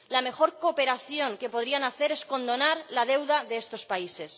La mejor cooperación que podrían hacer es condonar la deuda de estos países.